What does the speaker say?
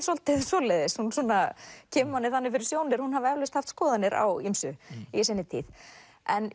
svolítið svoleiðis hún kemur manni þannig fyrir sjónir að hún hafi eflaust haft skoðanir á ýmsu í sinni tíð en